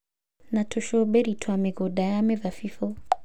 na tũcũmbĩrĩ twa mĩgũnda ya mĩthabibũ.